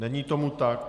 Není tomu tak.